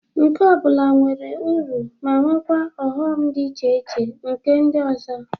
Nke ọ bụla nwere uru ma nwekwa ọghọm dị iche na nke ndị ọzọ.